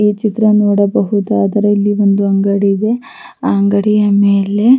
ಈ ಚಿತ್ರ ನೋಡಬಹುದಾದರೆ ಇಲ್ಲಿ ಒಂದು ಅಂಗಡಿ ಇದೆ ಆಹ್ಹ್ ಅಂಗಡಿಯ ಮೇಲೆ--